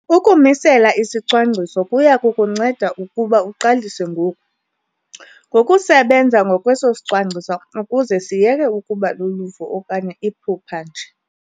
Ukumisela isicwangciso kuya kukunceda ukuba uqalise ngoku, ngokusebenza ngokweso sicwangciso ukuze siyeke ukuba luluvo okanye iphupha nje.